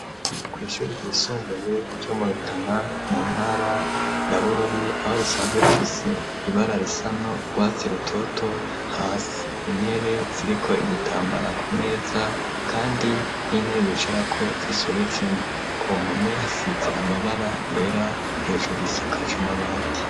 Kw'ishuri ryisumbuye ryo mu Rutana mu ntara ya Bururi aho risanzwe rifise ibara risa n'urwatsi rutoto hasi, intebe ziriko ibitambara ku meza kandi n'intebe bicarako zisobetse ku mpome hasize amabara yera hejuru isakajwe amabati.